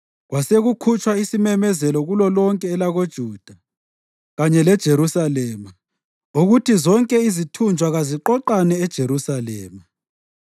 Kwasekukhutshwa isimemezelo kulolonke elakoJuda kanye leJerusalema ukuthi zonke izithunjwa kaziqoqane eJerusalema.